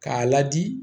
K'a ladi